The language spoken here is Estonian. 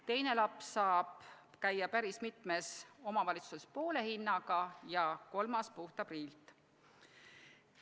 Teine laps saab käia päris mitmes omavalitsuses n-ö poole hinnaga ja kolmas puhta priilt.